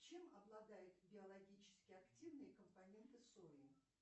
чем обладает биологически активные компоненты сои